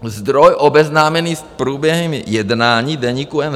Zdroj obeznámený s průběhem jednání Deníku